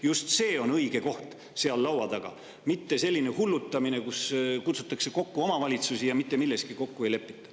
Just see on õige koht seal laua taga, mitte selline hullutamine, kui kutsutakse kokku omavalitsusi ja mitte milleski kokku ei lepita.